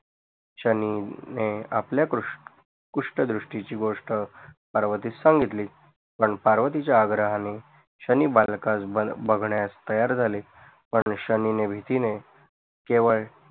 शनिने आपल्या कृश कुष्ठदृष्टीची घोस्ट पर्वतीस सांगितली पण पार्वतीच्या आग्रहाने शनि बालकास बघण्यास तयार झाले पण शनिने भीतीने केवळ